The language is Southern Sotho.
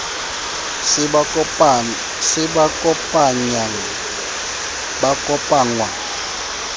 se ba kopanyang ba kopangwa